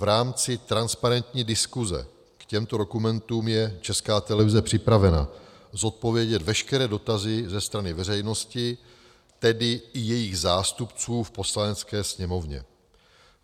V rámci transparentní diskuze k těmto dokumentům je Česká televize připravena zodpovědět veškeré dotazy ze strany veřejnosti, tedy i jejích zástupců v Poslanecké sněmovně.